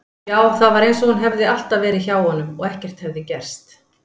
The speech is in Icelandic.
Já, það var einsog hún hefði alltaf verið hjá honum og ekkert hefði gerst.